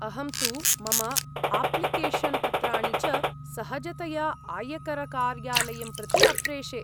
अहं तु मम आप्लिकेशन्, पत्राणि च सहजतया आयकरकार्यालयं प्रति अप्रेषे।